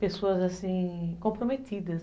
Pessoas assim, comprometidas.